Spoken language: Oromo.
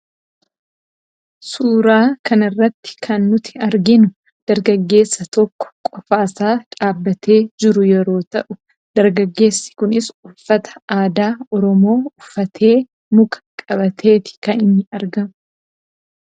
suuraa kanarratti kan nuti arginu dargaggeessa tokko qofaasaa dhaabatee jiru yeroo ta'u dargaggeessi kunis uffata aadaa oromoo uffatee muka qabateeti kan inni argamu.